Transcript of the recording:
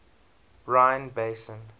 rhine basin